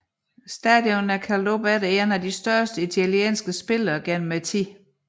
Stadion er opkaldt efter en af de største italienske spillere gennem tiden